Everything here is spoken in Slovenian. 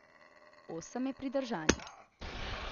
Osem je pridržanih.